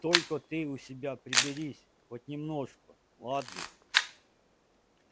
только ты у себя приберись хоть немножко ладно